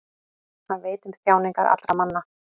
Hann veit um þjáningar allra manna.